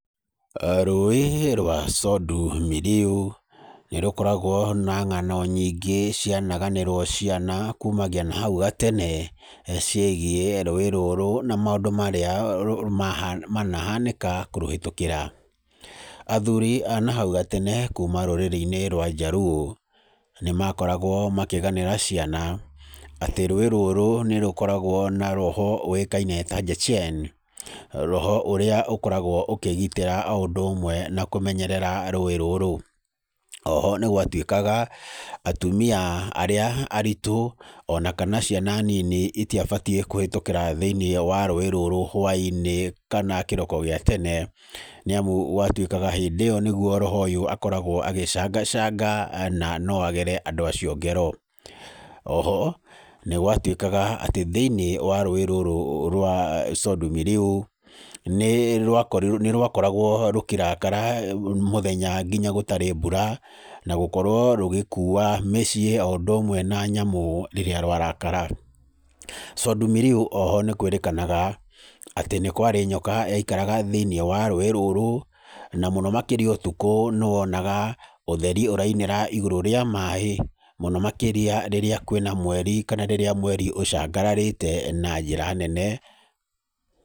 Rũĩ rwa Sondu Miriu, nĩ rũkoragwo na ng'ano nyingĩ cianaganĩrwo ciana kumagia na hau gatene, ciĩgiĩ rũũĩ rũrũ maũndũ marĩa maha manahanĩka kũrũhĩtũkĩra. Athuri a na hau gatene kuma rũrĩrĩ-ini rwa Njaruo ni makoragwo makĩganĩra ciana atĩ rũũĩ rũrũ nĩ rũkoragwo na roho ũĩkaine ta Jechen, roho ũrĩa ũkoragwo ũkĩgitĩra o ũndũ ũmwe na kũgitĩra rũũĩ rũrũ. Oho, nĩ gwatwĩkaga atumia arĩa arĩtu o na kana ciana nini itiabatiĩ kũhetũkĩra thĩini wa rũũĩ rũrũ hwainĩ kana kĩroko gĩa tene, nĩ amu gwatwĩkaga hĩndĩ ĩyo nĩguo roho ũyũ akoragwo agĩcangacanga na no agere andũ acio ngero. Oho, nĩ gwatwĩkaga atĩ thĩ-inĩ wa rũũĩ rũrũ rwa Sondu Miriu, nĩ rwakoragwo rũkĩrakara mũthenya nginya gũtarĩ mbura, na gũkorwo rũgĩkuua mĩciĩ o ũndũ ũmwe na nyamũ rĩrĩa rwarakara. Sondu Miriu oho nĩ kwĩrĩkanaga atĩ nĩ kwarĩ nyoka yaikaraga thĩ-inĩ wa rũũĩ rũrũ na mũno makĩria nĩ wonaga ũtheri ũrainĩra igũrũ rĩa maaĩ, mũno makĩrĩa rĩrĩa kwĩ na mweri kana rĩrĩa mweri ũcangararĩte na njĩra nene.